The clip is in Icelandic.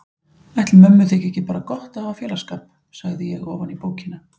Ætli mömmu þyki ekki bara gott að hafa félagsskap, sagði ég ofan í bókina.